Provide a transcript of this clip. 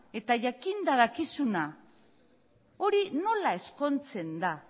eta jakinda dakizuna hori nola ezkontzen da